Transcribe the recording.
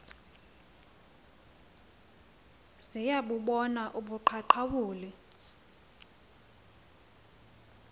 ziya bubona ubuqaqawuli